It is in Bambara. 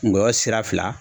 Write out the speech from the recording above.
Ngɔyɔ sira fila.